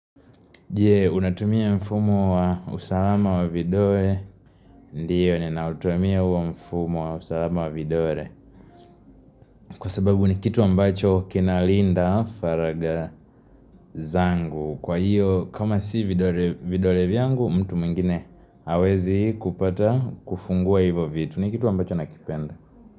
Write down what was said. Je, unatumia mfumo wa usalama wa vidoe? Ndio, ninautumia wa mfumo wa usalama wa vidore. Kwa sababu ni kitu ambacho kinalinda faraga zangu, kwa hiyo, kama si vidore vyangu, mtu mwingine hawezi kupata kufungua hivo vitu, ni kitu ambacho nakipenda.